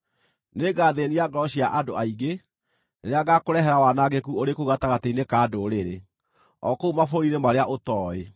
Nĩngathĩĩnia ngoro cia andũ aingĩ, rĩrĩa ngaakũrehera wanangĩku ũrĩ kũu gatagatĩ-inĩ ka ndũrĩrĩ, o kũu mabũrũri-inĩ marĩa ũtooĩ.